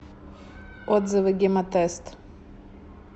отзывы гемотест